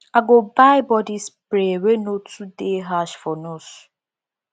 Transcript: i go buy body spray wey no too dey harsh for nose